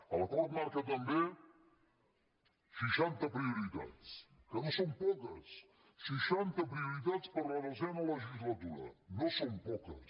l’acord marca també seixanta prioritats que no són poques seixanta prioritats per a la desena legislatura no són poques